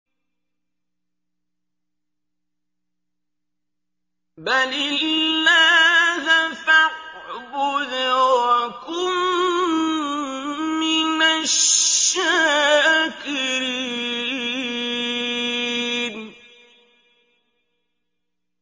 بَلِ اللَّهَ فَاعْبُدْ وَكُن مِّنَ الشَّاكِرِينَ